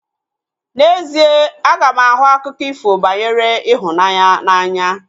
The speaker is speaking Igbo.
N'ezie, aga m ahụ akụkọ ifo banyere ịhụnanya n'anya